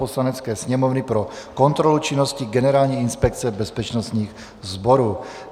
Poslanecké sněmovny pro kontrolu činnosti Generální inspekce bezpečnostních sborů